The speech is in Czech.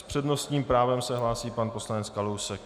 S přednostním právem se hlásí pan poslanec Kalousek.